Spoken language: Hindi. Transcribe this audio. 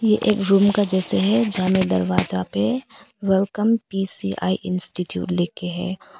ये एक रूम का जैसे है जहां में दरवाजा पे वेलकम पी_सी_आई इंस्टीट्यूट लिख के है।